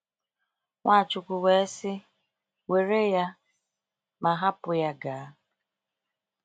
Nwachukwu wee sị: “Were ya ma hapụ ya gaa.”